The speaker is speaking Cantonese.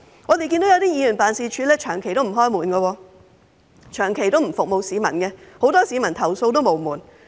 我們看見一些議員辦事處長期不辦公，長期不服務市民，很多市民投訴無門。